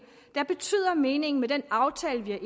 der betyder at meningen med den aftale vi